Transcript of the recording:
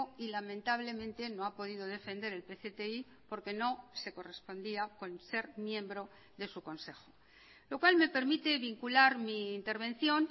y lamentablemente no ha podido defender el pcti porque no se correspondía con ser miembro de su consejo lo cual me permite vincular mi intervención